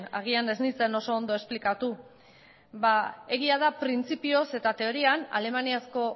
agian ez nintzen oso ondo esplikatu ba egia da printzipioz eta teorian alemaniazko